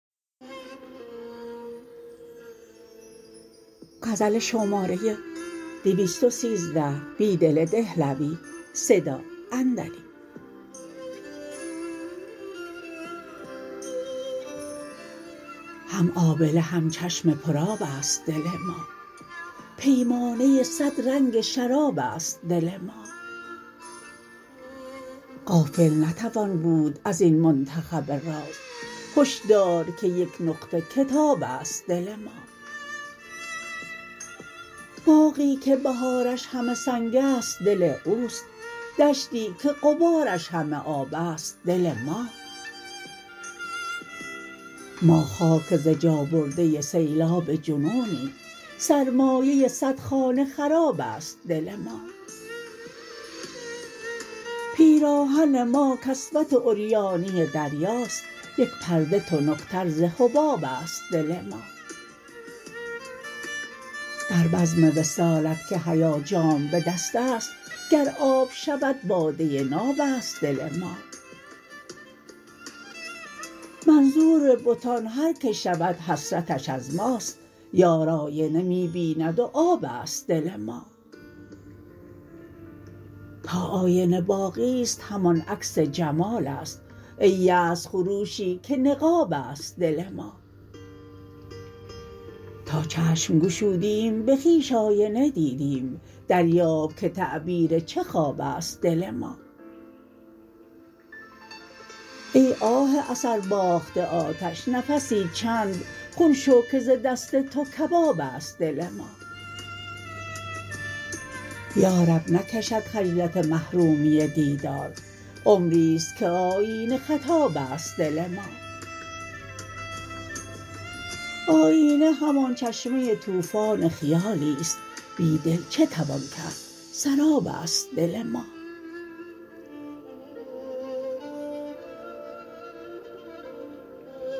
هم آبله هم چشم پر آب است دل ما پیمانه صد رنگ شراب است دل ما غافل نتوان بود ازین منتخب راز هشدارکه یک نقطه کتاب است دل ما باغی که بهارش همه سنگ است دل اوست دشتی که غبارش همه آب است دل ما ما خاک ز جا برده سیلاب جنونیم سرمایه صدخانه خراب است دل ما پیراهن ما کسوت عریانی دریاست یک پرده تنکتر ز حباب است دل ما در بزم وصالت که حیا جام به دست است گر آب شود باده ناب است دل ما منظوربتان هرکه شود حسرتش از ماست یار آینه می بیند وآب است دل ما تا آینه باقی ست همان عکس جمال است ای یأس خروشی که نقاب است دل ما تا چشم گشودیم به خویش آینه دیدیم دریاب که تعبیر چه خواب است دل ما ای آه اثر باخته آتش نفسی چند خون شوکه زدست توکباب است دل ما یارب نکشد خجلت محرومی دیدار عمری ست که آیینه خطاب است دل ما آیینه همان چشمه توفان خیالی ست بیدل چه توان کرد سراب است دل ما